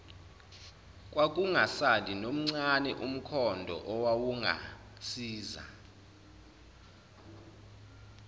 kwakungasali nomncane umkhondoowawungasiza